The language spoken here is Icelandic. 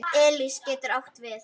Elis getur átt við